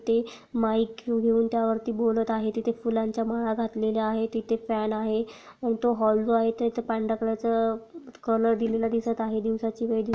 ते माइक घेऊन त्या वरती बोलत आहे तिथे फुलांच्या माळा घातलेल्या आहे तिथे फैन आहे मोठा हॉल जो आहे तो पांढर्‍या कलर चा कलर दिलेला दिसत आहे दिवसाची वेळ दिस--